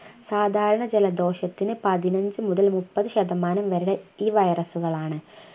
സാധാരണ ജലദോഷത്തിന് പതിനഞ്ചു മുതൽ മുപ്പത് ശതമാനം വരെ ഈ virus കളാണ്